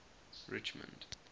richmond